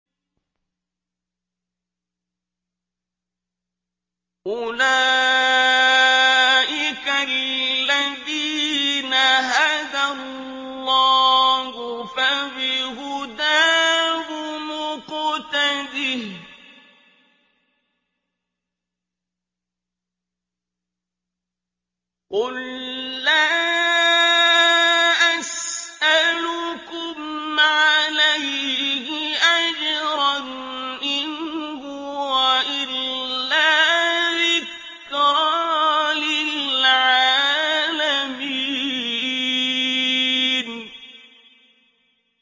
أُولَٰئِكَ الَّذِينَ هَدَى اللَّهُ ۖ فَبِهُدَاهُمُ اقْتَدِهْ ۗ قُل لَّا أَسْأَلُكُمْ عَلَيْهِ أَجْرًا ۖ إِنْ هُوَ إِلَّا ذِكْرَىٰ لِلْعَالَمِينَ